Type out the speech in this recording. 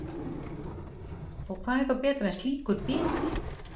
Og hvað er þá betra en slíkur biti?